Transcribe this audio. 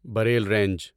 Braille range